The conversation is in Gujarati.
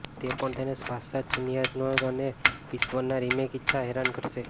તે પણ તેને શાશ્વત શૂન્યમનસ્કતા અને વિશ્વના રિમેક ઇચ્છા હેરાન કરશે